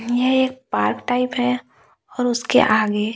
यह एक park type है और उसके आगे--